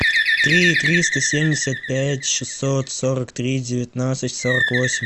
три триста семьдесят пять шестьсот сорок три девятнадцать сорок восемь